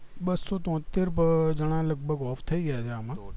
બસ્સો તોતેર જાના લગભગ off થાય ગયા છે આમાં